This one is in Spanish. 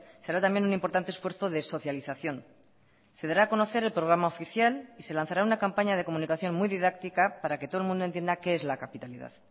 será también un importante esfuerzo de socialización se dará a conocer el programa oficial y se lanzará una campaña de comunicación muy didáctica para que todo el mundo entienda qué es la capitalidad